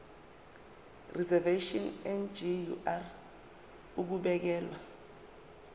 reservation ngur ukubekelwa